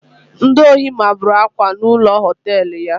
Ndi ohi mabụrụ Akwa na ụlọ họtelụ ya